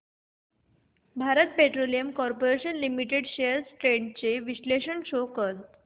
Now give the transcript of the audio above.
Bharat Petroleum Corporation Limited shares trends चे विश्लेषण show कर